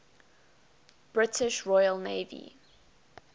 british royal navy